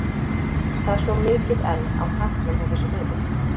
Það er svo mikið enn á tanknum hjá þessu liði.